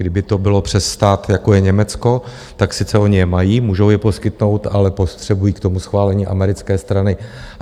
Kdyby to bylo přes stát, jako je Německo, tak sice oni je mají, můžou je poskytnout, ale potřebují k tomu schválení americké strany.